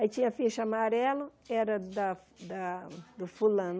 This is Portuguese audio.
Aí tinha ficha amarelo, era da da do fulano.